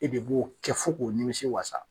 E de b'o kɛ fɔ ko nimisi walasa.